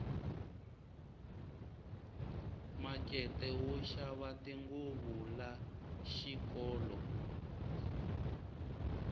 makete wo xava tinguvu la xikolo